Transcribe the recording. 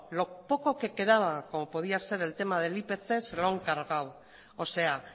lo poco que quedaba como podía ser el tema del ipc se lo han cargado o sea